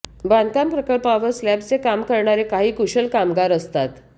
बांधकाम प्रकल्पांवर स्लॅबचे काम करणारे काही कुशल कामगार असतात